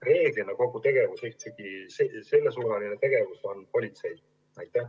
Reeglina ikkagi on kogu sellesuunaline tegevus politsei ülesanne.